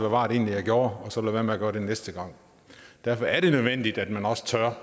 var jeg gjorde og så lade være med at gøre det næste gang derfor er det nødvendigt at man også tør